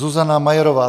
Zuzana Majerová